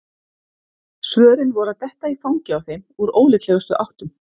Svörin voru að detta í fangið á þeim úr ólíklegustu áttum.